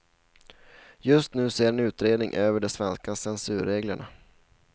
Just nu ser en utredning över de svenska censurreglerna.